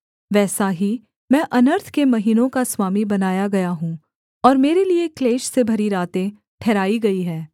वैसा ही मैं अनर्थ के महीनों का स्वामी बनाया गया हूँ और मेरे लिये क्लेश से भरी रातें ठहराई गई हैं